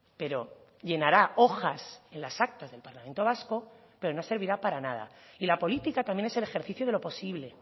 pero llenará hojas en las actas del parlamento vasco pero no servirá para nada y la política también es el ejercicio de lo posible